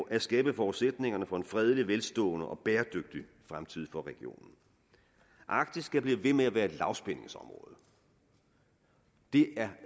at skabe forudsætningerne for en fredelig velstående og bæredygtig fremtid for regionen arktis skal blive ved med at være et lavspændingsområde det